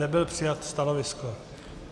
Nebylo přijato stanovisko.